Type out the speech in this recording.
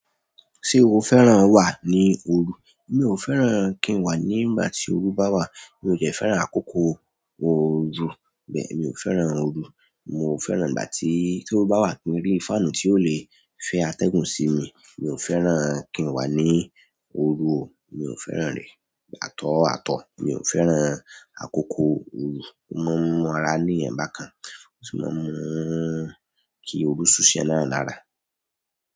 Ṣé o fẹ́ràn wà ní òru? Mi ò fẹ́ràn kí n wà ní ìgbà tí òru bá wà. Mi ò jẹ́ fẹ́ràn àkókò òru. Bẹ́ẹ̀ mi ò fẹ́ràn òru. Mo fẹ́ràn ìgbà tí ó bá wà ni orí fáànù tí ó le fẹ́ atẹ́gùn sí mi. Mi ò fẹ́ràn kí n wà ní òru o. Mi ò fẹ́ràn rẹ̀. At all, at all, mi o fẹ́ràn àkókò oru o maa n mu ara níyan bá kan, ó sì máa ń mú kí òru suu si èèyàn náà lára.